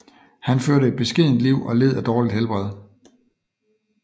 Han førte et beskedent liv og led af dårligt helbred